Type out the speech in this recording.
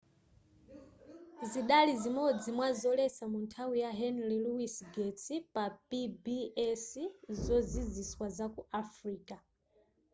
zidali zimodzi mwa zoletsa munthawi ya henry louis gates pa pbs zoziziswa zaku africa